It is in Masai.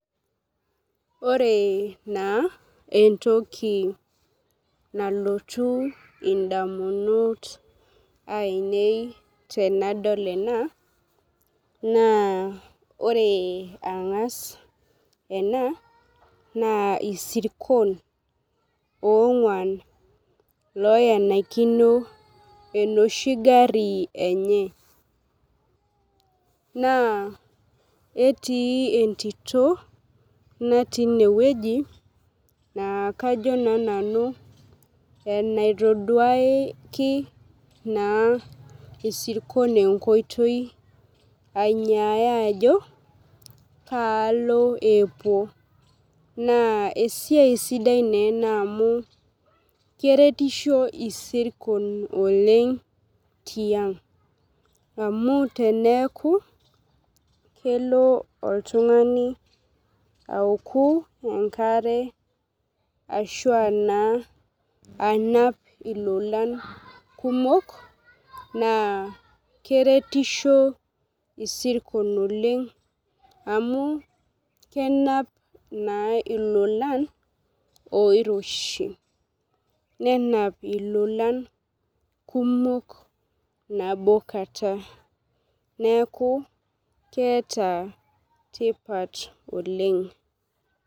Ore naa entoki nalotu idamunot ainei tenadol enaa naa ore ang'as enaa naa irsikon onguan loenikino enoshi gari enye. Naa etii entito natii ineweji naa kajo naa nanu, enaitoduaki naa irsikon enkoitoi ainyaya ajo kaalo epuo naa esiai sidai naa ena amu keretisho irsikon oleng' tiang', amu teneeku kelo oltung'ani aoku enkare ashua naa anap ilola kumok naa keretisho irsikon oleng' amu kenap naa ilolan oiroshi nenap ilolan kumok nabo kata neeku keeta tipat Oleng'.